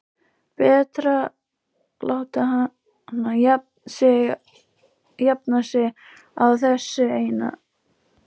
Betra að láta hana jafna sig á þessu eina.